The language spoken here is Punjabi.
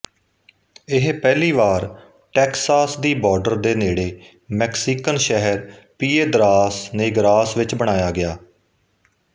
ਇਹ ਪਹਿਲੀ ਵਾਰ ਟੈਕਸਾਸ ਦੀ ਬਾਰਡਰ ਦੇ ਨੇੜੇ ਮੈਕਸੀਕਨ ਸ਼ਹਿਰ ਪੀਏਦਰਾਸ ਨੇਗਰਾਸ ਵਿੱਚ ਬਣਾਇਆ ਗਿਆ